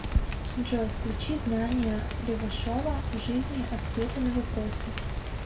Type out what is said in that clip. джой включи знания левашова в жизни ответы на вопросы